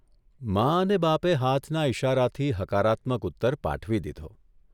મા અને બાપે હાથના ઇશારાથી હકારાત્મક ઉત્તર પાઠવી દીધો